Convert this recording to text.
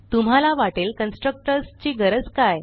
तुम्हाला वाटेल कन्स्ट्रक्टर्स ची गरजच काय